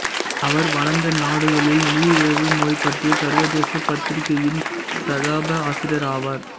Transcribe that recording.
அவர் வளர்ந்த நாடுகளில் நீரிழிவு நோய் பற்றிய சர்வதேச பத்திரிகையின் ஸ்தாபக ஆசிரியர் ஆவார்